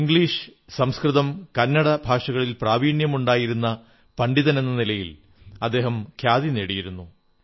English സംസ്കൃതം കന്നഡ ഭാഷകളിൽ പ്രാവീണ്യമുണ്ടായിരുന്ന പണ്ഡിതനെന്ന നിലയിൽ അദ്ദേഹം ഖ്യാതി നേടിയിരുന്നു